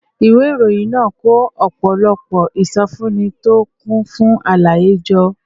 ìwé ìròyìn náà kó ọ̀pọ̀lọpọ̀ ìsọfúnni tó kún fún àlàyé jọ